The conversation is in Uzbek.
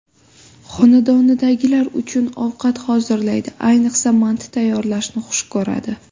Xonadonidagilar uchun ovqat hozirlaydi, ayniqsa manti tayyorlashni xush ko‘radi.